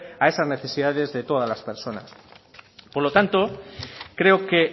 a esas necesidades de todas las personas por lo tanto creo que